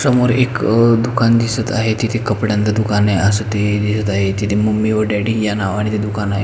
समोर एक अ दुकान दिसत आहे तेथे कपड्यांच दुकान असते हे दिसत आहे तेथे मम्मी व डॅडी या नावाने ते दुकान आहे.